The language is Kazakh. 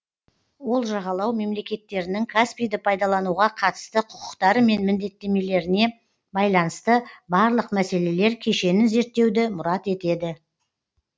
ол жағалау мемлекеттерінің каспийді пайдалануға қатысты құқықтары мен міндеттемелеріне байланысты барлық мәселелер кешенін зерттеуді мұрат етеді